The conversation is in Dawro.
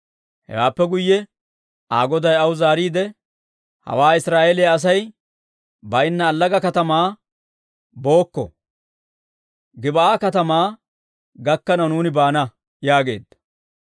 Hewaappe guyye Aa goday aw zaariide, «Hawaa Israa'eeliyaa Asay baynna allaga katamaa bookko. Gib'aa katamaa gakkanaw nuuni baana» yaageedda.